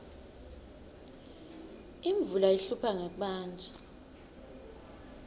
imvula ihlupha ngekubandza